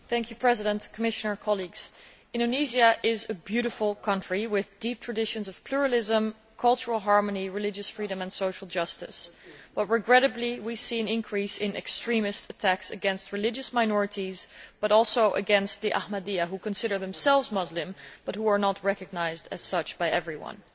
Madam President, Indonesia is a beautiful country with deep traditions of pluralism, cultural harmony, religious freedom and social justice, but regrettably we are seeing an increase in extremist attacks against religious minorities, including against the Ahmadis, who consider themselves Muslim but who are not recognised as such by everyone.